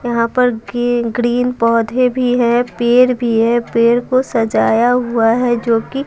यहां पर गी ग्रीन पौधे भी है पेर भी है पेर को सजाया हुआ है जो कि--